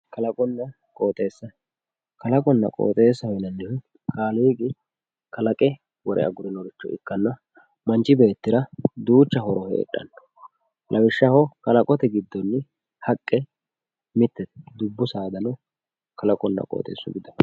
Kalaqonna qooxeessa kalaqonna qooxeessaho yinannihu kaaliiqi kalaqe wore agurinoricho ikkanna manchi beettira duucha horo heedhanno lawishshaho kaaqote giddonni haqqe mittete dubbu saadano kalaqonna qooxeessu giddo afantannote